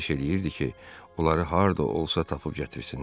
Xahiş eləyirdi ki, onları harda olsa tapıb gətirsinlər.